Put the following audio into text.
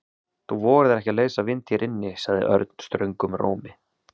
Þú vogar þér ekki að leysa vind hér inni sagði Örn ströngum rómi.